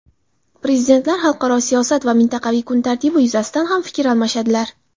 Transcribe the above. Prezidentlar xalqaro siyosat va mintaqaviy kun tartibi yuzasidan ham fikr almashadilar.